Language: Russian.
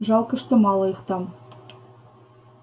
жалко что мало их там